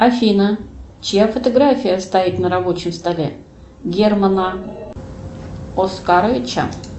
афина чья фотография стоит на рабочем столе германа оскаровича